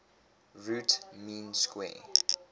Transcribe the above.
root mean square